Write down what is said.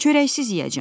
Çörəksiz yeyəcəm.